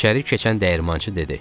İçəri keçən dəyirmançı dedi.